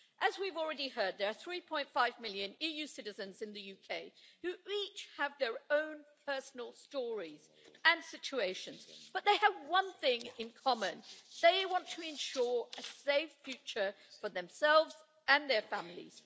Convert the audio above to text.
As we've already heard, there are 3.5 million EU citizens in the UK who each have their own personal stories and situations, but they have one thing in common they want to ensure a safe future for themselves and their families.